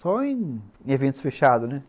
Só em eventos fechados, né?